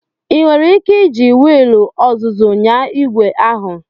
Ị nwere ike iji wiil ọzụzụ nyaa igwe ahu?